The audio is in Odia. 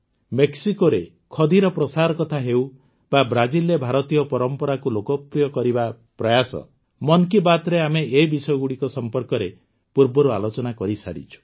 ମେକ୍ସିକୋରେ ଖଦିର ପ୍ରସାର କଥା ହେଉ ବା ବ୍ରାଜିଲରେ ଭାରତୀୟ ପରମ୍ପରାକୁ ଲୋକପ୍ରିୟ କରିବାର ପ୍ରୟାସ ମନ କୀ ବାତ୍ରେ ଆମେ ଏ ବିଷୟଗୁଡ଼ିକ ସମ୍ପର୍କରେ ପୂର୍ବରୁ ଆଲୋଚନା କରିସାରିଛୁ